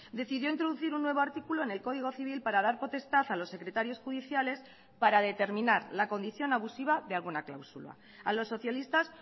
decidió introducir un nuevo artículo en el código civil para dar potestad a los secretarios judiciales para determinar la condición abusiva de alguna cláusula a los socialistas